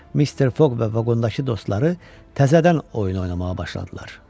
Mister Foq və vaqondakı dostları təzədən oyun oynamağa başladılar.